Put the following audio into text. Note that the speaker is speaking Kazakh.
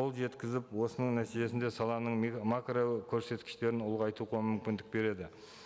қол жеткізіп осының нәтижесінде саланың макрокөрсеткіштерін ұлғайту мүмкіндік береді